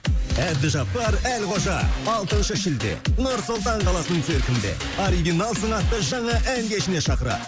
әбдіжаппар әлқожа алтыншы шілде нұр сұлтан қаласының циркінде оригиналсың атты жаңа ән кешіне шақырады